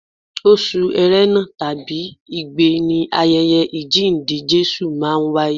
Oṣù erena tàbí igbe ni ayẹyẹ àjíǹde Jésù máa ń wáyé.